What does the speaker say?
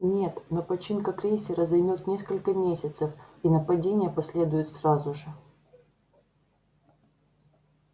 нет но починка крейсера займёт несколько месяцев и нападение последует сразу же